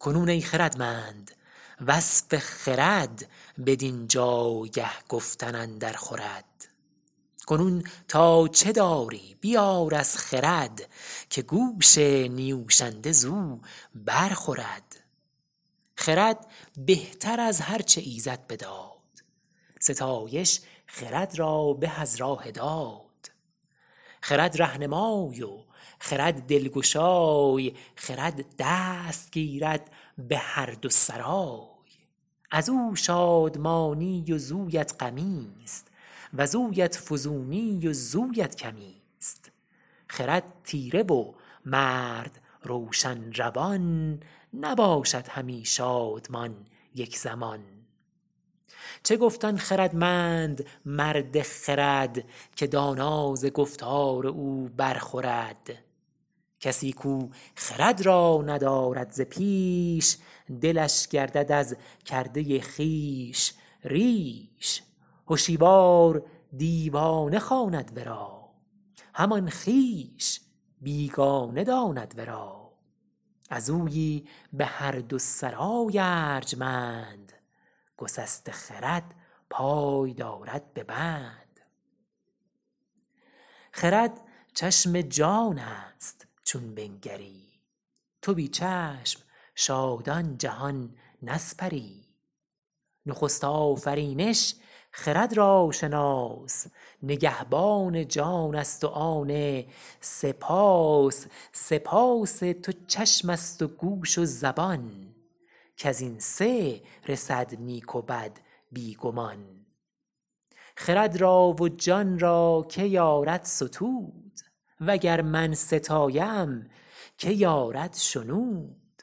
کنون ای خردمند وصف خرد بدین جایگه گفتن اندر خورد کنون تا چه داری بیار از خرد که گوش نیوشنده زو بر خورد خرد بهتر از هر چه ایزد بداد ستایش خرد را به از راه داد خرد رهنمای و خرد دلگشای خرد دست گیرد به هر دو سرای از او شادمانی وزویت غمی است وزویت فزونی وزویت کمی است خرد تیره و مرد روشن روان نباشد همی شادمان یک زمان چه گفت آن خردمند مرد خرد که دانا ز گفتار او بر خورد کسی کو خرد را ندارد ز پیش دلش گردد از کرده خویش ریش هشیوار دیوانه خواند ورا همان خویش بیگانه داند ورا از اویی به هر دو سرای ارجمند گسسته خرد پای دارد به بند خرد چشم جان است چون بنگری تو بی چشم شادان جهان نسپری نخست آفرینش خرد را شناس نگهبان جان است و آن سه پاس سه پاس تو چشم است و گوش و زبان کز این سه رسد نیک و بد بی گمان خرد را و جان را که یارد ستود و گر من ستایم که یارد شنود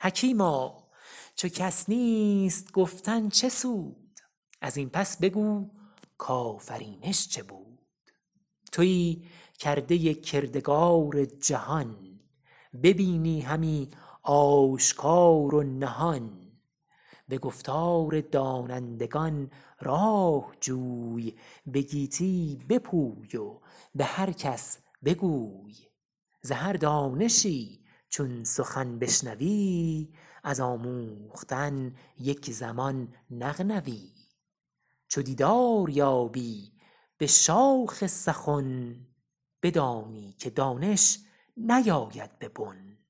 حکیما چو کس نیست گفتن چه سود از این پس بگو کآفرینش چه بود تویی کرده کردگار جهان ببینی همی آشکار و نهان به گفتار دانندگان راه جوی به گیتی بپوی و به هر کس بگوی ز هر دانشی چون سخن بشنوی از آموختن یک زمان نغنوی چو دیدار یابی به شاخ سخن بدانی که دانش نیاید به بن